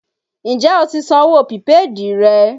Ǹjẹ́ o ti san owó pìpéèdì rẹ?